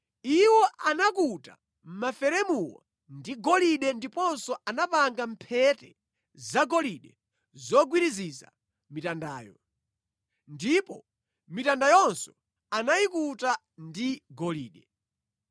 Iwo anakuta maferemuwo ndi golide ndiponso anapanga mphete zagolide zogwiriziza mitandayo. Ndipo mitandayonso anayikuta ndi golide.